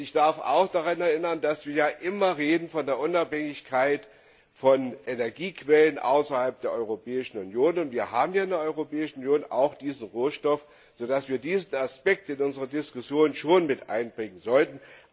Ich darf auch daran erinnern, dass wir immer von der Unabhängigkeit von Energiequellen außerhalb der Europäischen Union reden. Wir haben hier in der Europäischen Union diesen Rohstoff, sodass wir diesen Aspekt in unsere Diskussion mit einbringen sollten.